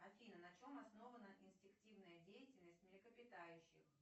афина на чем основана инстинктивная деятельность млекопитающих